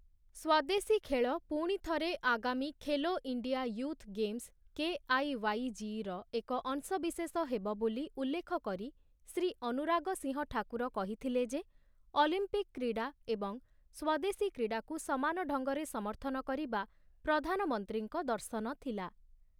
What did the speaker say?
ସ୍ୱଦେଶୀ ଖେଳ ପୁଣି ଥରେ ଆଗାମୀ Khelo India Youth Games KIYG ର ଏକ ଅଂଶ ବିଶେଷ ହେବ ବୋଲି ଉଲ୍ଲେଖ କରି ଶ୍ରୀ ଅନୁରାଗ ସିଂହ ଠାକୁର କହିଥିଲେ ଯେ, ଅଲିମ୍ପିକ୍ କ୍ରୀଡ଼ା ଏବଂ ସ୍ୱଦେଶୀ କ୍ରୀଡ଼ାକୁ ସମାନ ଢଙ୍ଗରେ ସମର୍ଥନ କରିବା ପ୍ରଧାନମନ୍ତ୍ରୀଙ୍କ ଦର୍ଶନ ଥିଲା ।